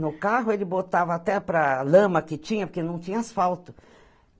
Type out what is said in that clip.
No carro, ele botava até para a lama que tinha, porque não tinha asfalto.